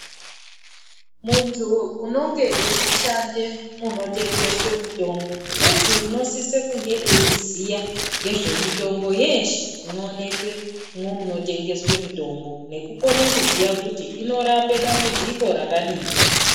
Muntu unonge eishande munotengeswe mitombo muntu anosise kunge eiziya ngezvemitombo yeshe inoonekemwo munotengeswe mitombo nekukone kuziya kuti inorape dambudziko rakadini.